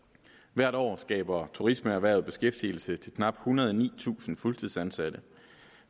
hvert år skaber turismeerhvervet beskæftigelse til knap ethundrede og nitusind fuldtidsansatte